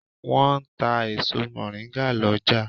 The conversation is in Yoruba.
Wọ́n ń ta èso mọ̀ríngà lọ́jà.